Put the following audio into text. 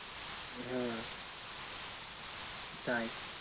হ্যাঁ তাই